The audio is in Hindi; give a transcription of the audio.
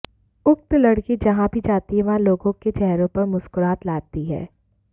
उक्त लड़की जहां भी जाती है वहां लोगों के चेहरों पर मुस्कुराहट लाती है